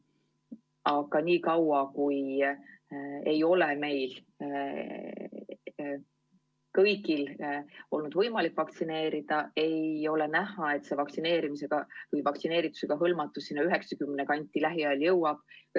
Aga niikaua, kui ei ole meil kõigil võimalik vaktsineerida, ei ole näha, et vaktsineerimisega hõlmatus 90% kanti lähiajal jõuab.